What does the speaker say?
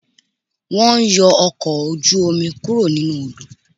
Wọ́n ń yọ ọkọ̀ ojú-omi kúrò nínú Odò